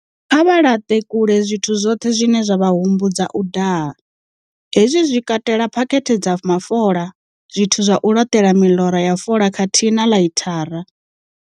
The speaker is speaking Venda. Kha vha laṱe kule zwithu zwoṱhe zwine zwa vha humbudza u daha. He zwi zwi katela phakhethe dza mafola, zwithu zwa u laṱela miḽora ya fola khathihi na ḽaithara.